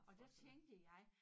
Og der tænkte jeg